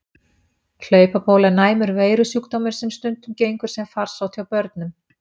Hlaupabóla er næmur veirusjúkdómur sem stundum gengur sem farsótt hjá börnum.